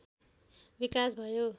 विकास भयो